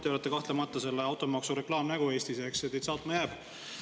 Te olete kahtlemata selle automaksu reklaamnägu Eestis, eks, see teid saatma jääb.